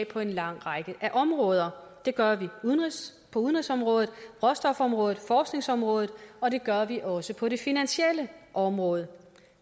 på en lang række områder det gør vi på udenrigsområdet råstofområdet og forskningsområdet og det gør vi også på det finansielle område